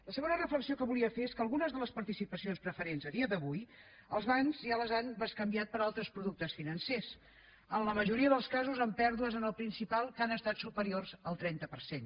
la segona reflexió que volia fer és que algunes de les participacions preferents a dia d’avui els bancs ja les han bescanviat per altres productes financers en la majoria dels casos amb pèrdues en el principal que han estat superiors al trenta per cent